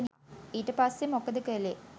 ඊට පස්සේ මොකද කළේ?